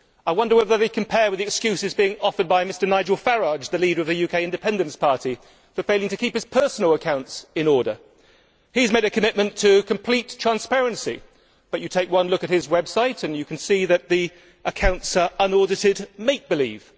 I wonder whether they compare with the excuses being offered by Mr Nigel Farage, the leader of the UK Independence Party, for failing to keep his personal accounts in order. He has made a commitment to complete transparency, but you take one look at his website and you can see that the accounts are unaudited make believe.